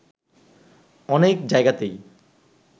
অনেক জায়গাতেই